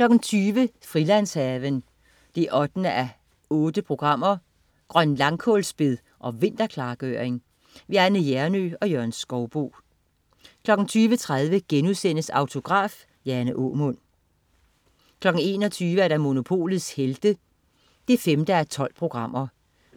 20.00 Frilandshaven 8:8. Grønlangkålsbed og vinterklargøring. Anne Hjernøe og Jørgen Skouboe 20.30 Autograf: Jane Aamund* 21.00 Monopolets Helte 5:12.